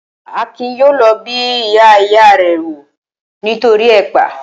Akin yóò lọ bẹ ìyá ìya rẹ̀ wò nítoríi ẹ̀pà